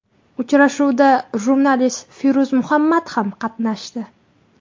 Uchrashuvda jurnalist Feruz Muhammad ham qatnashdi.